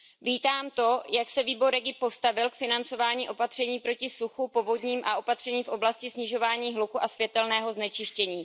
Vítám to, jak se výbor REGI postavil k financování opatření proti suchu, povodním a opatřením v oblasti snižování hluku a světelného znečištění.